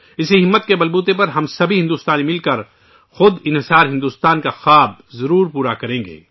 اس حوصلے کے بل پر ہم سبھی بھارتی مل کر آتم نربھر بھارت کا خواب ضرور پورا کریں گے